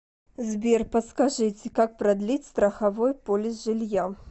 сбер подскажите как продлить страховой полис жилья